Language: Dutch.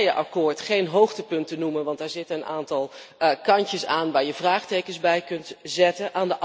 Ik durf het Turkije akkoord geen hoogtepunten te noemen, want daar zit een aantal kantjes aan waar je vraagtekens bij kunt zetten.